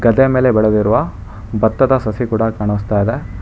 ಗದ್ದೆಯ ಮೇಲೆ ಬೆಳೆದಿರುವ ಭತ್ತದ ಸಸಿ ಕೂಡ ಕಾಣಿಸ್ತಾ ಇದೆ.